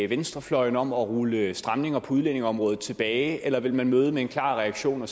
venstrefløjen om at rulle stramninger på udlændingeområdet tilbage eller vil man møde med en klar reaktion og